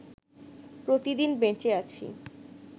প্রতিদিন বেঁচে আছি